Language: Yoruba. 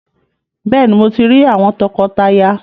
Béèni, Mọ tí rí àwọn tọkọtaya